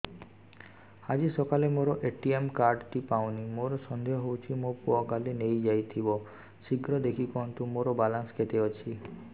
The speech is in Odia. ଆଜି ସକାଳେ ମୋର ଏ.ଟି.ଏମ୍ କାର୍ଡ ଟି ପାଉନି ମୋର ସନ୍ଦେହ ହଉଚି ମୋ ପୁଅ କାଳେ ନେଇଯାଇଥିବ ଶୀଘ୍ର ଦେଖି କୁହନ୍ତୁ ମୋର ବାଲାନ୍ସ କେତେ ଅଛି